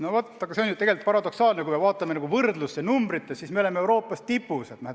Tegelikult on see paradoksaalne: kui me võrdluseks vaatame teiste riikide numbreid, siis me oleme Euroopas tipus.